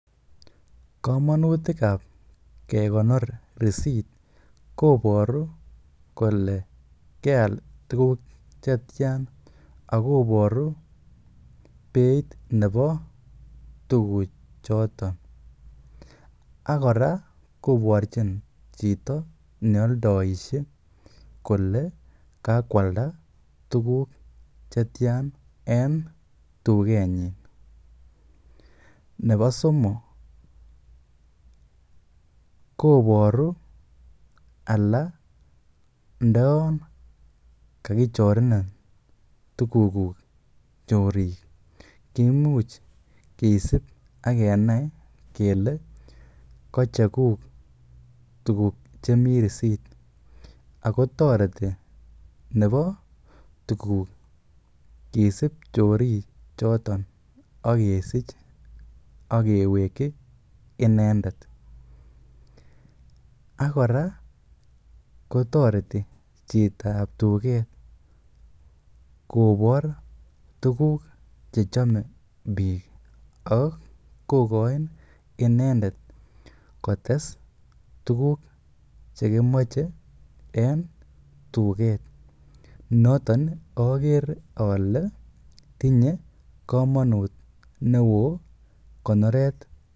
Komonutik ab kekonor risit, koboru kolekela tuguk che tyan ak koboru beit nebo tuguchoton ak kora korchin chito ne oldoishe kole kagoalda tuguk che tyan en tugenyin. Nebo somok koboru anan ndo yon kagichorenin tuguk chorik kimuch kisib ak kenai kele kocheguk tuguk chemi risit ago toreti nebo tuguk kisib chorik choton ak kisich ak keweki inendet. Ak kora kotoreti chitab tuget kobor tuguk che chome biik ak kogoin inendet kotes tuguk che kimoche en tuget. Nootn ogere ole tinye komonut neo konoret.